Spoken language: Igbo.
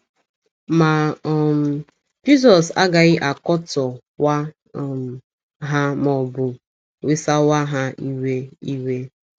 Ma um, Jizọs agaghị akotọwa um ha ma ọ bụ wesawa ha iwe. iwe.